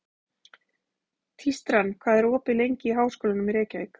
Tístran, hvað er opið lengi í Háskólanum í Reykjavík?